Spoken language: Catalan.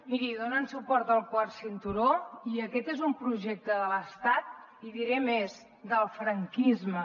miri donen suport al quart cinturó i aquest és un projecte de l’estat i diré més del franquisme